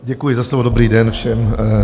Děkuji za slovo, dobrý den všem.